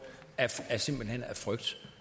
simpelt hen af frygt